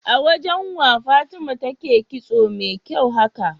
awajan wa fatima take kitso me kyau haka?